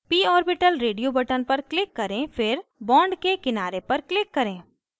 p orbital radio button पर click करें फिर bond के किनारे पर click करें